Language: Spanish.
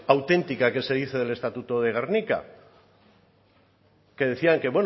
auténtica que se dice del estatuto de gernika que decían que